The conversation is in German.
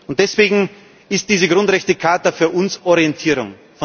Und deswegen ist diese Grundrechtecharta für uns Orientierung.